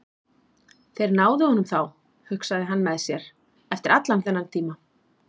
Þeir náðu honum þá, hugsaði hann með sér, eftir allan þennan tíma.